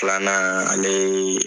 anan ale ye